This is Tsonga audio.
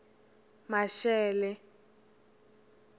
maxele